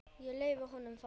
Ég leyfi honum það.